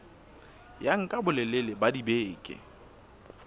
ya nka bolelele ba dibeke